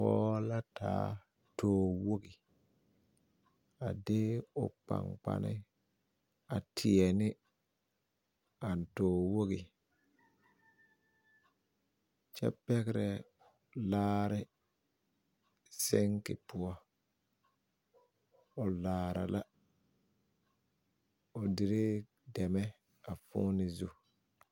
Pɔɡe la taa toowoɡi a de o kpaŋkpale a teɛ ne a toowoɡi kyɛ pɛɡerɛ laare siŋki poɔ o laara la o deree dɛmɛ .